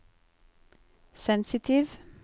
sensitiv